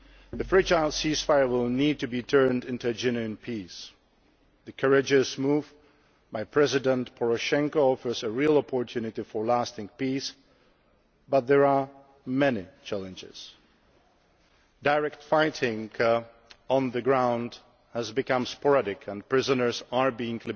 The fragile ceasefire will need to be turned into a genuine peace. The courageous move by President Poroshenko offers a real opportunity for lasting peace, but there are many challenges. Direct fighting on the ground has become sporadic and prisoners are being